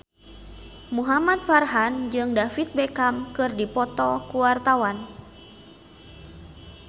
Muhamad Farhan jeung David Beckham keur dipoto ku wartawan